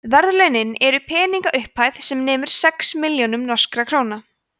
verðlaunin eru peningaupphæð sem nemur sex milljónum norskra króna